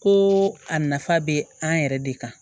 Ko a nafa bɛ an yɛrɛ de kan